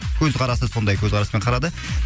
көзқарасы сондай көзқараспен қарады